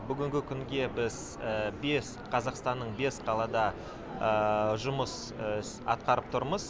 бүгінгі күнге біз бес қазақстанның бес қалада жұмыс атқарып тұрмыз